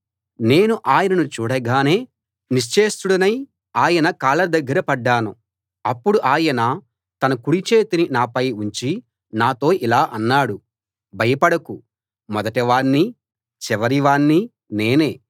నేను ఆయనను చూడగానే నిశ్చేష్టు డి నా ఆయన కాళ్ళ దగ్గర పడ్డాను అప్పుడు ఆయన తన కుడి చేతిని నాపై ఉంచి నాతో ఇలా అన్నాడు భయపడకు మొదటివాణ్ణీ చివరివాణ్ణీ నేనే